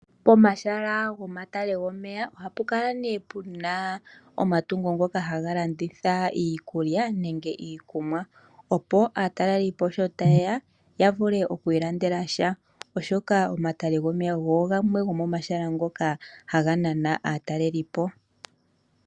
Pomahala gomatale gomeya ohapu kala ne puna omatungo ngika haga landitha iikulya nenge iikunwa opo aatelelipo sho taye ya, ya vule okwiilandela sha oshoka omatale gomeya ogo gamwe gomahala ngoka haga nana aatalelipo.